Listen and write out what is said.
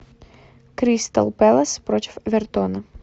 кристал пэлас против эвертона